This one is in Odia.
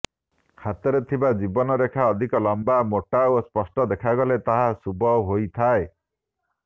ହାତରେ ଥିବା ଜୀବନ ରେଖା ଅଧିକ ଲମ୍ବା ମୋଟା ଓ ସ୍ପଷ୍ଟ ଦେଖାଗଲେ ତାହା ଶୁଭ ହୋଇଥାଏ